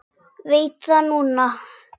Veit það núna.